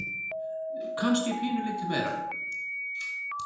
Kannski pínulítið meira.